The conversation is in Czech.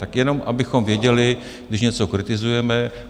Tak jenom, abychom věděli, když něco kritizujeme.